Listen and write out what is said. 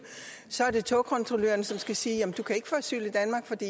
så er det togkontrolløren som skal sige du kan ikke få asyl